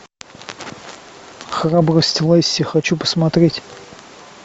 храбрость лесси хочу посмотреть